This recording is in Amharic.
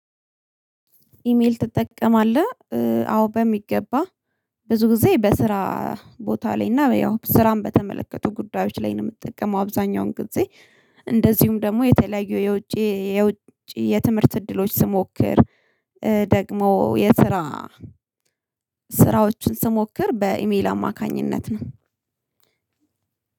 ኢሜይል ትጠቀማለህ? አዎ በሚገባ ብዙ ጊዜ በስራ ቦታ ላይ እና ያው ስራን በተመለከቱ ጉዳዮች ላይ ነው የምጠቀመው አብዛኛውን ጊዜ። እንደዚሁም ደግሞ የተለያዩ የውጪ የውጭ የትምህርት እድሎች ስሞክር ደግሞ የስራ ስራዎችን ስሞክር በኢሜል አማካኝነት ነው።